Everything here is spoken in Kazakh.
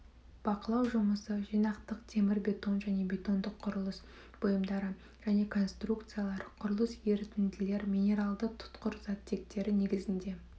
бақылау жұмысы жинақтық темірбетон және бетондық құрылыс бұйымдары және конструкциялар құрылыс ерітінділер минералды тұтқыр заттектері негізінде